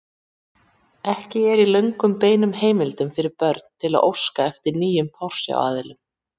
Ekki er í lögum bein heimild fyrir börn til að óska eftir nýjum forsjáraðilum.